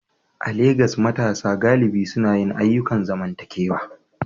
A Legas, matasa galibi suna yin ayyukan zamantakewa